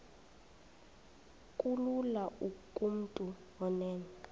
kulula kumntu onen